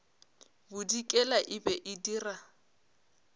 bodikela e be e dira